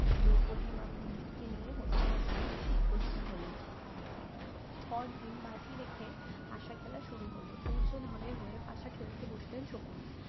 দ্রৌপদী মা কুন্তিকে নিয়ে হস্তিনাপুরে এসে উপস্থিত হলেন পরদিন বাজি রেখে পাশা খেলা শুরু হলো দুর্জনধনের হয়ে পাশা খেলতে বসলেন শকুনি